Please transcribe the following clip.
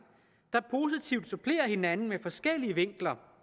der positivt supplerer hinanden med forskellige vinkler